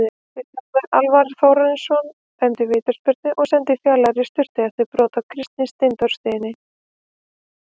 Vilhjálmur Alvar Þórarinsson dæmdi vítaspyrnu og sendi Fjalar í sturtu eftir brot á Kristni Steindórssyni.